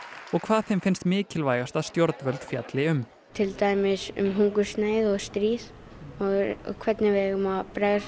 og hvað þeim finnst mikilvægast að stjórnvöld fjalli um til dæmis um hungursneyð og stríð og hvernig við eigum að